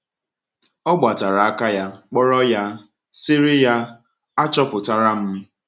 “Ọ gbatara aka ya kpọrọ ya, sịrị ya: ‘Achọpụtara m.’”